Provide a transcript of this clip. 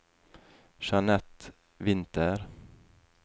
Jeanette Winther